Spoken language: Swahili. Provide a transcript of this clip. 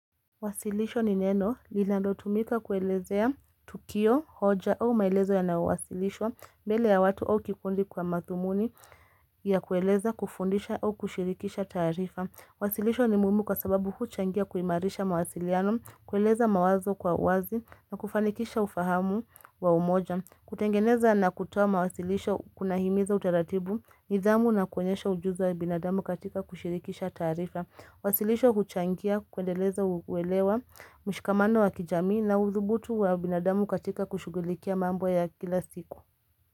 Wasilisho ni neno, lilalotumika kuelezea tukio, hoja au maelezo yanaowasilishwa, mbele ya watu au kikundi kwa mathumuni ya kueleza kufundisha au kushirikisha taarifa. Wasilisho ni muhimu kwa sababu huchangia kuimaarisha mawasiliano, kueleza mawazo kwa uwazi na kufanikisha ufahamu wa umoja. Kutengeneza na kutoa mawasilisho kunahimiza utaratibu, nidhamu na kuonyesha ujuzi wa binadamu katika kushirikisha taarifa. Wasilisho huchangia kwendeleza uwelewa mshikamano wa kijamii na uthubutu wa binadamu katika kushughulikia mambo ya kila siku.